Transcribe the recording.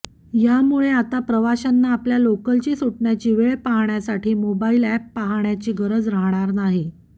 यामुळे आता प्रवाशांना आपल्या लोकलची सुटण्याची वेळ पाहण्यासाठी मोबाईल ऍप पाहण्याची गरज राहणार नाही